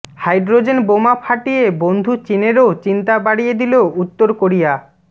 hydrogen বোমা ফাটিয়ে বন্ধু চিনেরও চিন্তা বাড়িয়ে দিল উত্তর কোরিয়া